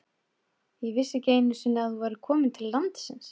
Ég vissi ekki einu sinni að þú værir komin til landsins.